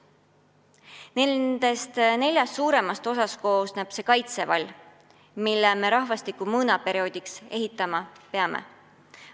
Nendest neljast suuremast osast koosneb see kaitsevall, mille me rahvastiku mõõnaperioodiks ehitama peame.